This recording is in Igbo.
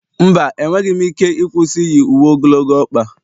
mba, enweghị m ike ịkwụsị iyi uwe ogologo ọkpa